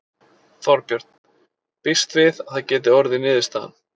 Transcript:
Þorbjörn: Býstu við að það geti orðið niðurstaðan?